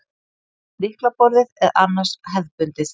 Sjálft lyklaborðið er annars hefðbundið